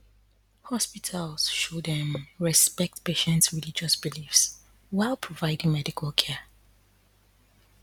hospitals should um respect patients religious beliefs while providing medical care